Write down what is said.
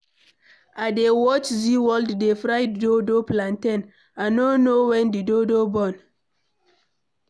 I dey watch zeaworld dey fry dodo (plantain), I no know when the dodo burn.